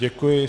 Děkuji.